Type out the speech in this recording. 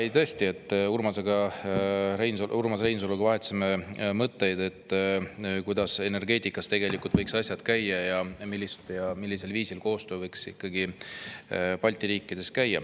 Jaa, tõesti vahetasime Urmas Reinsaluga mõtteid, kuidas energeetikas võiks asjad tegelikult käia ja millisel viisil võiks ikkagi toimuda koostöö Balti riikides.